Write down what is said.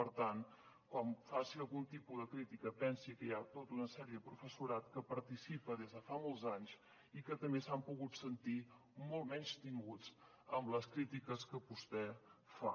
per tant quan faci algun tipus de crítica pensi que hi ha tota una sèrie de professorat que hi participa des de fa molts anys i que també s’han pogut sentir molt menystinguts amb les crítiques que vostè fa